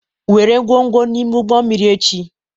Were ngwongwo n'ime ụgbọ mmiri echi